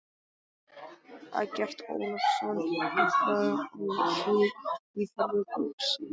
Eggert Ólafsson impraði á því í ferðabók sinni